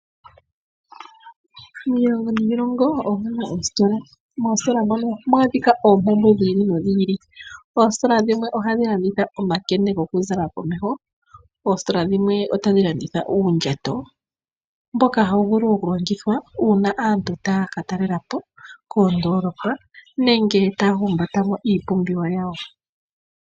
Miilongo niilongo omuna oositola. Moositola mono ohamu adhika oompumbwe dhiili nodhili. Oositola dhimwe ohadhi landitha omakende gokuzala komeho. Oositola dhimwe otadhi landitha uundjato mboka hawu vulu okulongithwa uuna aantu taya ka talelapo koondolopa nenge taya humbata wo iipumbiwa yawo.